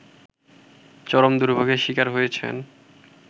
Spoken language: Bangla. চরম দুর্ভোগের শিকার হয়েছেন